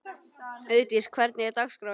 Auðdís, hvernig er dagskráin?